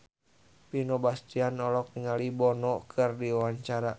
Vino Bastian olohok ningali Bono keur diwawancara